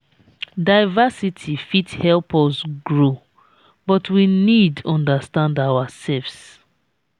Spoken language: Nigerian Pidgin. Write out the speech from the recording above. diversity fit help us grow but we need understand ourselves.